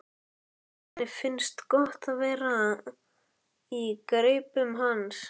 Henni finnst gott að vera í greipum hans.